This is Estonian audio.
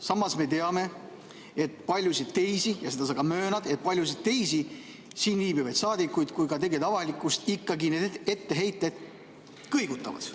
Samas me teame, et paljusid teisi, ja seda sa ka möönad, et paljusid teisi siin viibivaid saadikuid ja ka tegelikult avalikkust ikkagi need etteheited kõigutavad.